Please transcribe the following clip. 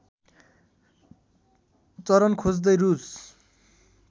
चरन खोज्दै रूस